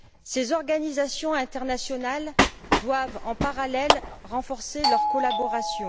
Ces organisations internationales doivent en parallèle renforcer leur collaboration.